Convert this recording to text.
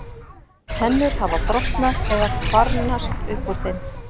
Tennur hafa brotnað eða kvarnast úr þeim.